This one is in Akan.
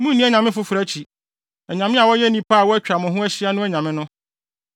Munnni anyame foforo akyi; anyame a wɔyɛ nnipa a wɔatwa mo ho ahyia no anyame no;